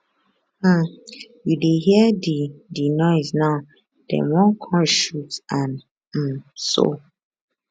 um you dey hear di di noise now dem wan come shoot and um soo